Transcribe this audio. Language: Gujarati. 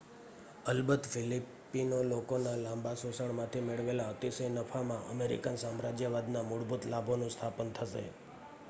અલબત ફિલિપિનો લોકોના લાંબા શોષણમાંથી મેળવેલા અતિશય નફામાં અમેરિકન સામ્રાજ્યવાદનાં મૂળભૂત લાભોનું સ્થાપન થશે